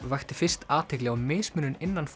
vakti fyrst athygli á mismunun innan